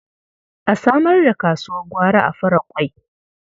A samar da kasuwar gwari a Faraƙwai.